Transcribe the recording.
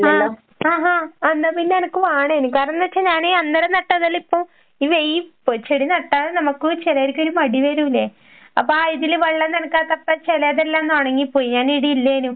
അഹ് ആഹാ എന്നാ പിന്നെ എനക്ക് വേണേന്, കാരണംന്ന് വച്ച ഞാൻ അന്നേരം നട്ടതെല്ലാം ഇപ്പൊ ഈ ചെടി നട്ടാലും നമുക്ക് ചെലേർക്കൊരു മടി വരൂല്ലേ? അപ്പൊ ആ ഇതില് വെള്ളം നനക്കാത്തപ്പെ ചെലതെല്ലാം ഒന്ന് ഒണങ്ങിപ്പോയ് ഞാൻ ഇവിടെ ഇല്ലേനു.